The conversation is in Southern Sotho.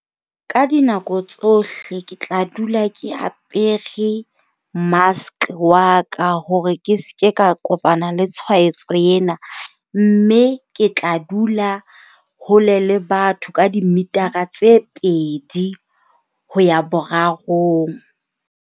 Ka dinako tsohle ke tla dula ke apere mask wa ka hore ke se ke ka kopana le tshwaetso ena. Mme ke tla dula hole le batho ka dimitara tse pedi ho ya borarong.